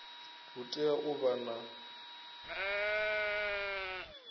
hu tea u vha na